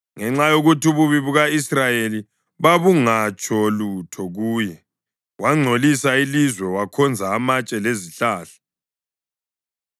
Ngenxa yokuthi ububi buka-Israyeli babungatsho lutho kuye, wangcolisa ilizwe wakhonza amatshe lezihlahla.